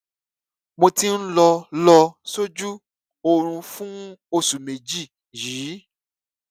mo ti ń lọ lọ sójú oorun fún oṣù méjì yìí